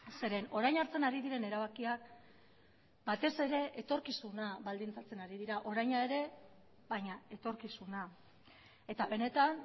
zeren orain hartzen ari diren erabakiak batez ere etorkizuna baldintzatzen ari dira oraina ere baina etorkizuna eta benetan